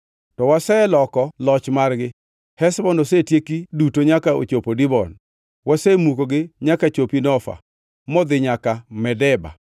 “To waseloko loch margi; Heshbon osetieki duto nyaka ochopo Dibon. Wasemukogi nyaka chopi Nofa, modhi nyaka Medeba.”